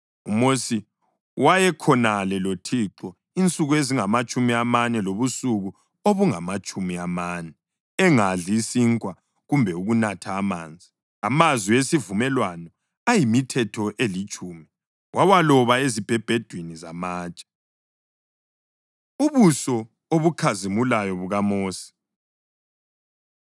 UMosi wayekhonale loThixo insuku ezingamatshumi amane lobusuku obungamatshumi amane engadli sinkwa kumbe ukunatha amanzi. Amazwi esivumelwano ayimiThetho eliTshumi, wawaloba ezibhebhedwini zamatshe. Ubuso Obukhazimulayo BukaMosi